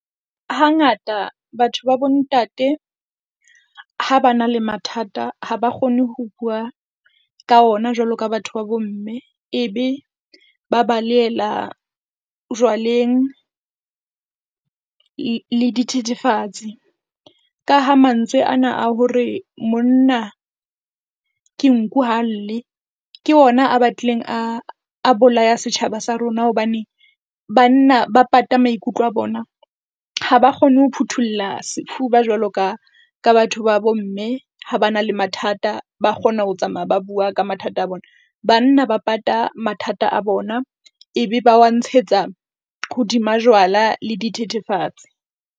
Hangata batho ba bo ntate ha ba na le mathata, ha ba kgone ho bua ka ona jwalo ka batho ba bo mme. E be ba balehela jwaleng le le dithethefatsi. Ka ha mantswe ana a hore monna ke nku ha lle, ke ona a batlileng a, a bolaya setjhaba sa rona, hobane banna ba pata maikutlo a bona, ha ba kgone ho phuthulla sefuba jwalo ka ka batho ba bomme ha ba na le mathata. Ba kgona ho tsamaya ba bua ka mathata a bona, banna ba pata mathata a bona, e be ba wa ntshetsa hodima jwala le dithethefatsi.